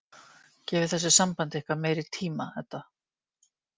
Gefið þessu sambandi ykkar meiri tíma, Edda.